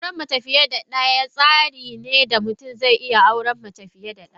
Auren mace fiye da daya shine tsarin da mutum zai iya auren mace fiye da daya.